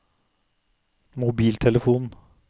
mobiltelefon